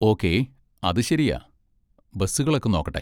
Okay, അത് ശരിയാ, ബസ്സുകളൊക്കെ നോക്കട്ടെ.